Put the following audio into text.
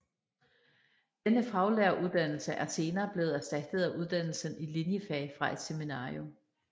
Denne faglæreruddannelse er senere blevet erstattet af uddannelsen i linjefag fra et seminarium